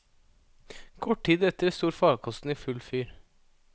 Kort tid etter sto farkosten i full fyr.